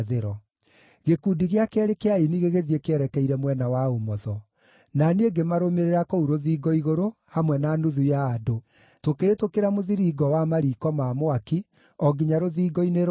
Gĩkundi gĩa keerĩ kĩa aini gĩgĩthiĩ kĩerekeire mwena wa ũmotho. Na niĩ ngĩmarũmĩrĩra kũu rũthingo igũrũ hamwe na nuthu ya andũ, tũkĩhĩtũkĩra Mũthiringo wa Mariiko ma Mwaki o nginya Rũthingo-inĩ Rwariĩ,